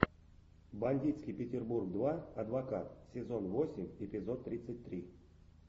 бандитский петербург два адвокат сезон восемь эпизод тридцать три